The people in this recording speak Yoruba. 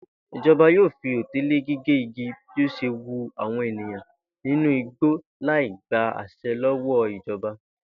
Ìjo̩ba yóò fi òté lé gígé igi bí ó s̩e wu àwò̩n èèyàn nínú igbó láì gba às̩e̩ ló̩wó̩ ìjo̩ba